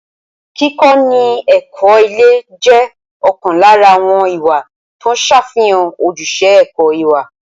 Kíkọ́ni ní ẹ̀kọ́ ilé jẹ́ ọ̀kan lára àwọn ìwà tó ń ṣàfihàn ojúṣe ẹ̀kọ́ ìwà.